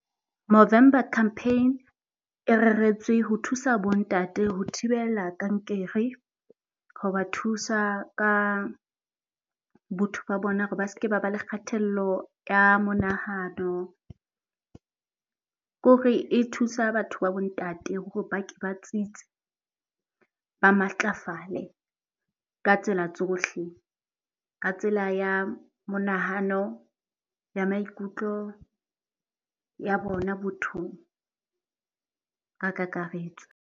Movember Campaign e reretswe ho thusa bo ntate ho thibella kankere. Ho ba thusa ka botho ba bona hore ba seke ba ba le kgatello ya monahano. Ke hore e thusa batho ba bo ntate hore ba ke ba tsitse, ba matlafale ka tsela tsohle. Ka tsela ya monahano, ya maikutlo, ya bona bothong ka kakaretso.